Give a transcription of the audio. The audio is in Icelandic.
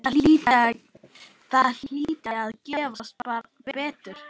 Það hlyti að gefast betur.